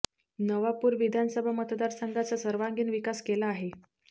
नवापूर विधानसभा मतदार संघाचा सर्वांगीण विकास केला आहे